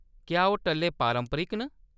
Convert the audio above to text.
क्या ओह्‌‌ टल्ले पारंपरिक न ?